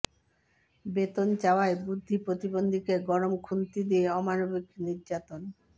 বেতন চাওয়ায় বুদ্ধি প্রতিবন্ধীকে গরম খুন্তি দিয়ে অমানবিক নির্যাতন